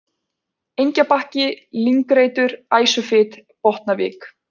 Engjabakki, Lyngreitur, Æsufit, Botnavik